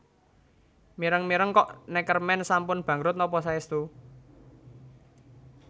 Mireng mireng kok Neckermann sampun bangkrut nopo saestu?